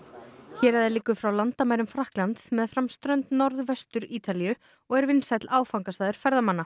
héraðið liggur frá landamærum Frakklands meðfram strönd Norðvestur Ítalíu og er vinsæll áfangastaður ferðamanna